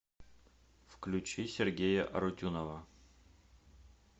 включи сергея арутюнова